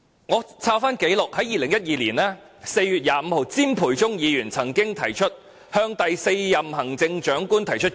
翻查紀錄，在2012年4月25日，詹培忠議員曾提出議案，向第四任行政長官提出建議。